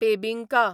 बेबिंका